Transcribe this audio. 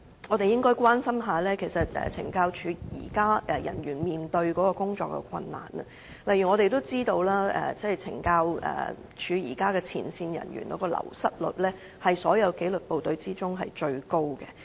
我們應該反過來關心懲教人員現在面對的工作困難，例如我們知道，前線懲教人員的流失率是所有紀律部隊中最高。